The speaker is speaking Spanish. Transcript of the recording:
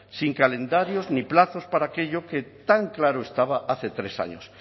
sin calendarios ni plazos para aquello que tan claro estaba hace tres años